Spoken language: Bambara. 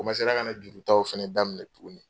O komansera ka na juru taw fɛnɛ daminɛ tugunni.